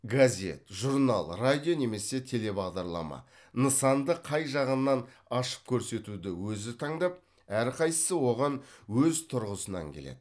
газет журнал радио немесе телебағдарлама нысанды қай жағынан ашып көрсетуді өзі таңдап әрқайсысы оған өз тұрғысынан келеді